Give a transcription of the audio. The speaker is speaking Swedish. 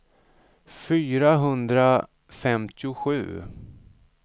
fyrahundrafemtiosju